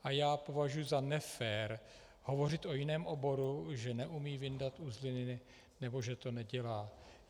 A já považuji za nefér hovořit o jiném oboru, že neumí vyndat uzliny nebo že to nedělá.